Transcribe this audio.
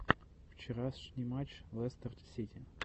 вчерашний матч лестер сити